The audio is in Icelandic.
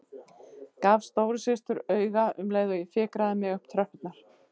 Gaf stóru systur auga um leið og ég fikraði mig upp tröppurnar.